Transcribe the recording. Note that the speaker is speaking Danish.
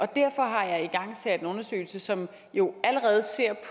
derfor har jeg igangsat en undersøgelse som jo allerede ser